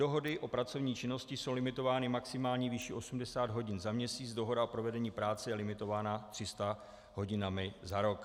Dohody o pracovní činnosti jsou limitovány maximální výší 80 hodin za měsíc, dohoda o provedení práce je limitována 300 hodinami za rok.